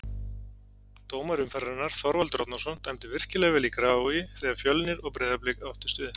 Dómari umferðarinnar: Þorvaldur Árnason Dæmdi virkilega vel í Grafarvogi þegar Fjölnir og Breiðablik áttust við.